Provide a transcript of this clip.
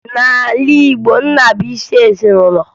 N'ala Igbo, nna bụ isi ezinụlọ